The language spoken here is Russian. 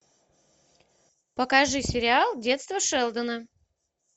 покажи сериал детство шелдона